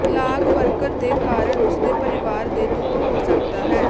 ਲਾਗ ਵਰਕਰ ਦੇ ਕਾਰਨ ਉਸ ਦੇ ਪਰਿਵਾਰ ਦੇ ਦੁੱਖ ਹੋ ਸਕਦਾ ਹੈ